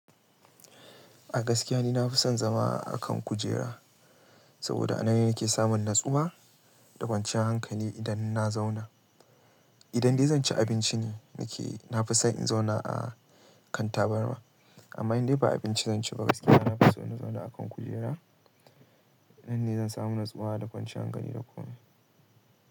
A gaskiya ni na fi son zama a kan kujera, saboda a nan yake samun natsuwa da kwanciyar hankali idan na zauna. Idan dai zan ci abinci ne nake, na fi son in zauna a kan tabarma. Amma in dai ba abinci zan ci ba gaskiya na fi so na zauna a kan kujera. Nan ne zan samu natsuwa da kwanciyar hankali da kun.